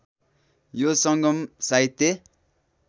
यो सङ्गम साहित्य